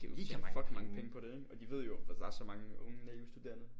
De kan tjene fucking mange penge på det ikke? Og de ved jo der er så mange unge naive studerende